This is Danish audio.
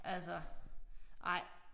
Altså nej